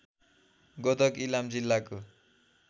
गोदक इलाम जिल्लाको